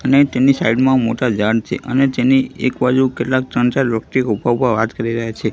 અને તેની સાઈડ માં મોટા ઝાડ છે અને તેની એક બાજુ કેટલાક ત્રણ ચાર વ્યક્તિ ઉભા ઉભા વાત કરી રહ્યા છે.